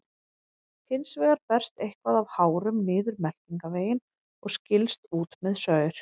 Hins vegar berst eitthvað af hárum niður meltingarveginn og skilst út með saur.